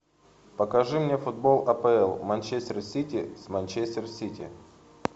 покажи мне футбол апл манчестер сити с манчестер сити